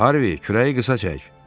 Harvi, kürəyi qısa çək.